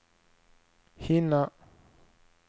hinna